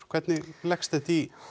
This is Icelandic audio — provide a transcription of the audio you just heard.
hvernig leggst þetta í